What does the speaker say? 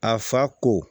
A fa ko